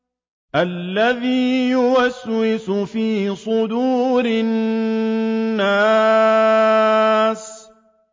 الَّذِي يُوَسْوِسُ فِي صُدُورِ النَّاسِ